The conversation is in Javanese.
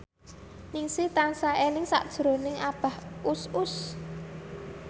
Ningsih tansah eling sakjroning Abah Us Us